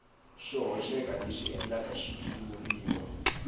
xo hoxeka leswi endlaka xitshuriwa